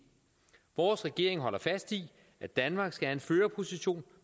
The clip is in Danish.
vores regering holder fast i at danmark skal have en førerposition